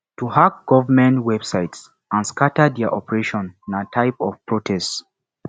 to hack government websites and scatter their operation na type of protest